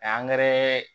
A